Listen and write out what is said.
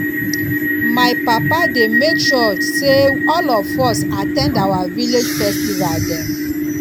my papa dey make sure sey all of us at ten d our village festival dem